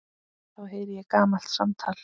Þá heyri ég gamalt samtal.